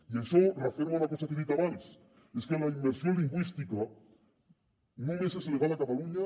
i això referma una cosa que he dit abans i és que la immersió lingüística només és legal a catalunya